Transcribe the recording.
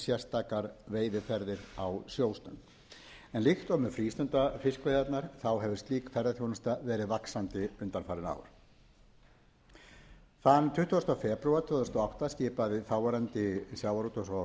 sérstakar veiðiferðir á sjóstöng en líkt og með frístundafiskveiðarnar hefur slík ferðaþjónusta verið vaxandi undanfarin ár þann tuttugasta febrúar tvö þúsund og átta skipaði þáverandi sjávarútvegs og